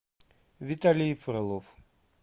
виталий фролов